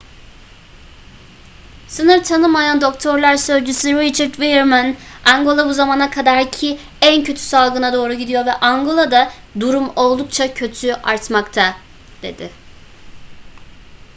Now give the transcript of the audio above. sınır tanımayan doktorlar sözcüsü richard veerman angola bu zamana kadarki en kötü salgına doğru gidiyor ve angola'da durum oldukça kötü artmakta dedi